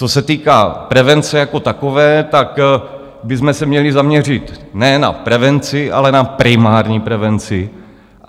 Co se týká prevence jako takové, tak bychom se měli zaměřit ne na prevenci, ale na primární prevenci.